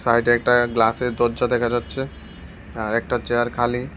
সাইডে একটা গ্লাসের দরজা দেখা যাচ্ছে আর একটা চেয়ার খালি।